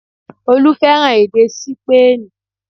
Olú fẹ́ràn èdè Sípéènì